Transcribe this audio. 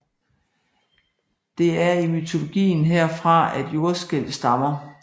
Det er i mytologien herfra at jordskælv stammer